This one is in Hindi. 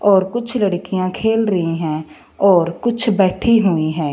और कुछ लड़कियां खेल रही हैं और कुछ बैठी हुई हैं।